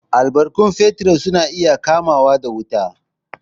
Albarkatun fetir su na iya kamawa da wuta.